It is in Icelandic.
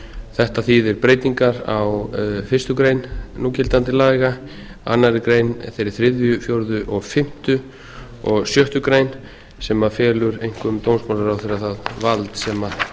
þetta þýðir breytingar á fyrstu grein núgildandi laga aðra grein þeirri þriðju fjórðu fimmtu og sjöttu grein sem felur einkum dómsmálaráðherra það vald sem